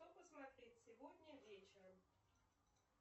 что посмотреть сегодня вечером